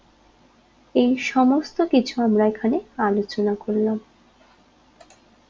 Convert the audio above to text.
এই সমস্ত কিছু আমরা এখানে আলোচনা করলাম